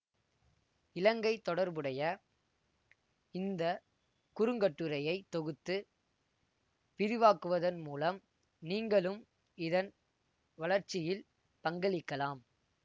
இலங்கை தொடர்புடைய இந்த குறுங்கட்டுரையை தொகுத்து விரிவாக்குவதன் மூலம் நீங்களும் இதன் வளர்ச்சியில் பங்களிக்கலாம்